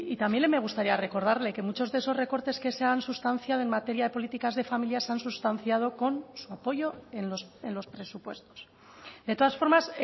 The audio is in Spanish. también me gustaría recordarle que muchos de esos recortes que se han sustanciado en materia de políticas de familia se han sustanciado con su apoyo en los presupuestos de todas formas